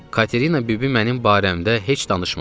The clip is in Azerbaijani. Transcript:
Katerina bibi mənim barəmdə heç danışmadı.